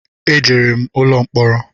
E jere m ụlọ mkporo